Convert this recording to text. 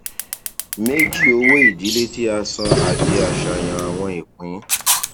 méjì owóìdílé tí a san àti àṣàyàn àwọn ìpín